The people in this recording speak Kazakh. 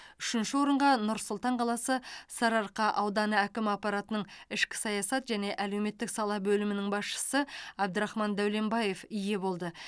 үшінші орынға нұр сұлтан қаласы сарыарқа ауданы әкімі аппаратының ішкі саясат және әлеуметтік сала бөлімінің басшысы әбдірахман дәуленбаев ие болды